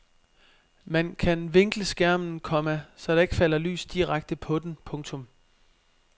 Man kan vinkle skærmen, komma så der ikke falder lys direkte på den. punktum